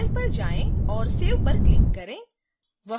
file पर जाएँ और save पर क्लिक करें